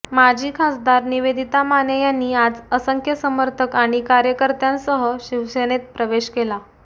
माजी खासदार निवेदिता माने यांनी आज असंख्य समर्थक आणि कार्यकर्त्यांसह शिवसेनेत प्रवेश केला